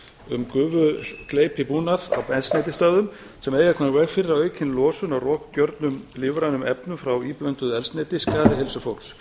um gufugleypibúnað á eldsneytisstöðvum sem eiga að koma í veg fyrir að aukin losun á rokgjörnum lífrænum efnum frá íblönduðu eldsneyti skaði heilsu fólks